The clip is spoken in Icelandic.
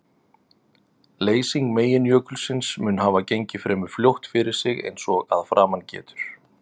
Leysing meginjökulsins mun hafa gengið fremur fljótt fyrir sig eins og að framan getur.